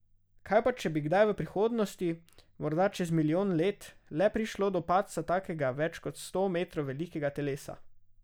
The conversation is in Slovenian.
Kaj pa če bi kdaj v prihodnosti, morda čez milijon let, le prišlo do padca takega več kot sto metrov velikega telesa?